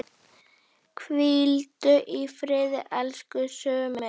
Hvíldu í friði, elsku Summi.